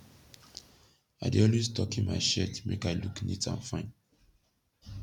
i dey alway tockin mai shirt make i look neat and fine